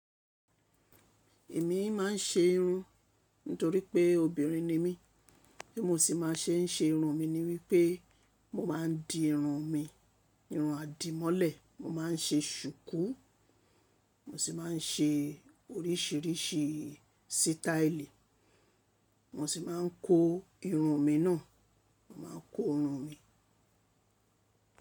Èmi máa ń ṣe irun nítorí pé obìnrin ni mí. Bí mo ṣe máa ń ṣe ṣe irun mi ni wípé mo máa ń di irun mi, irun àdìmọ́lẹ̀, mo má ń ṣe ṣùkú, mo sì máa ń ṣe oríṣìíríṣìí sítáílì, mo sì máa ń ko irun mi náà, mo máa ń kun irun mi.